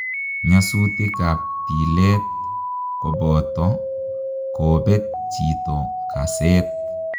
Nyasutik ap tileet kopotoo kopeet chitoo kaseet ,